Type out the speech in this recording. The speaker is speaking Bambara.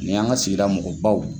Ni y'an ka sigi mɔgɔbaw